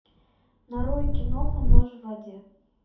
нарой киноху нож в воде